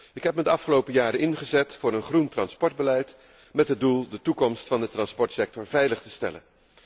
Ik heb me de afgelopen jaren ingezet voor een groen transportbeleid, met het doel de toekomst van de transportsector veilig te stellen.